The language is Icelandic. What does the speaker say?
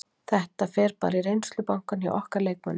Þetta fer bara í reynslubankann hjá okkur og leikmönnum.